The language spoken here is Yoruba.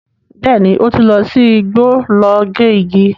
Bẹ́ẹ̀ni, ó ti lọ sí igbó lọ gé igi.